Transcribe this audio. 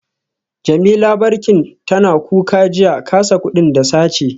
Jemi labar bankin tana kuka jiya, kasa kudin da sace